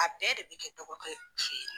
A bɛɛ de bɛ kɛ dɔgɔkɛ fɛ ye.